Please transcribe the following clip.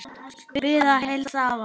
Bið að heilsa afa.